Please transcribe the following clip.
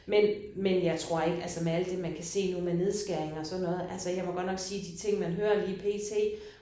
Men men jeg tror ikke altså med alt det man kan se nu med nedskæringer og sådan noget altså jeg må godt nok sige de ting man hører lige pt